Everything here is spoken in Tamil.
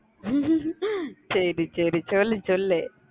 சரி சரி சொல்லு சொல்லு